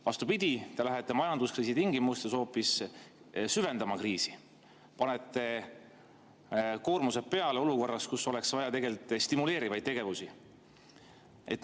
Vastupidi, te lähete majanduskriisi tingimustes hoopis kriisi süvendama, panete koormused peale olukorras, kus oleks tegelikult vaja stimuleerivaid tegevusi.